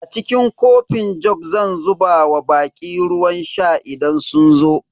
A cikin kofin jug zan zuba wa baƙi ruwan sha idan sun zo.